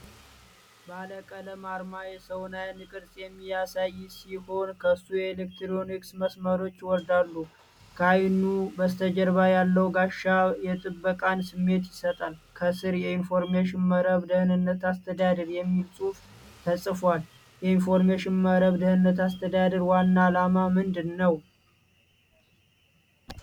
ባለቀለም አርማ የሰውን ዓይን ቅርጽ የሚያሳይ ሲሆን ከሱም የኤሌክትሮኒክስ መስመሮች ይወርዳሉ። ከዓይኑ በስተጀርባ ያለው ጋሻ የጥበቃን ስሜት ይሰጣል። ከሥር "የኢንፎርሜሽን መረብ ደህንነት አስተዳደር" የሚል ጽሑፍ ተጽፏል። የኢንፎርሜሽን መረብ ደህንነት አስተዳደር ዋና ዓላማ ምንድን ነው?